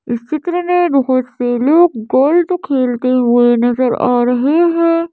इस चित्र में बहोत से लोग गोल्ट खेलते हुए नजर आ रहे हैं।